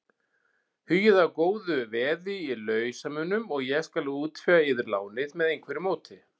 Hugið að góðu veði í lausamunum og ég skal útvega yður lánið með einhverju móti.